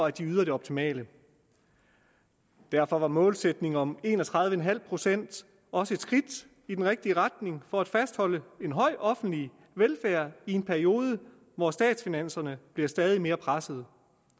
at de yder det optimale derfor var målsætningen om en og tredive procent også et skridt i den rigtige retning for at fastholde en høj offentlig velfærd i en periode hvor statsfinanserne bliver stadig mere pressede